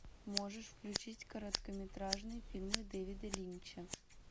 можешь включить короткометражные фильмы дэвида линча